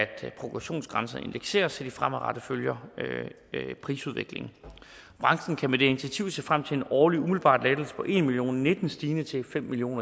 progressionsgrænsen indekseres så de fremadrettet følger prisudviklingen og branchen kan med det initiativ se frem til en årlig umiddelbar lettelse på en million og nitten stigende til fem million